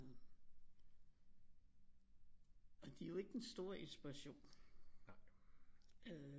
Og de er jo ikke til den store inspiration øh